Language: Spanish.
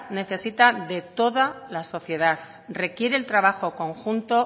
necesita de toda la sociedad requiere el trabajo conjunto